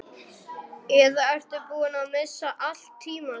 Eða ertu búinn að missa allt tímaskyn?